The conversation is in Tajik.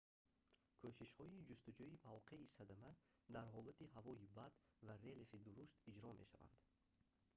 кӯшишҳои ҷустуҷӯи мавқеи садама дар ҳолати ҳавои бад ва релефи дурушт иҷро мешаванд